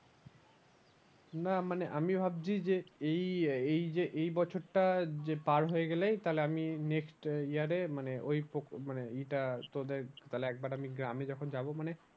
না মানে আমি ভাবছি যে এই এই যে এই বছরটা যে পার হয়ে গেলেই তাহলে আমি next আহ year এ মানে ওই মানে এটা তোদের তাহলে একবার আমি গ্রামে যখন যাবো মানে